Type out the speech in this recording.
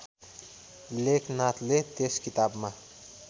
लेखनाथले त्यस किताबमा